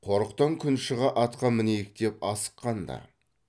қорықтан күн шыға атқа мінейік деп асық қан ды